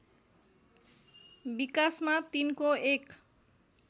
विकासमा तिनको एक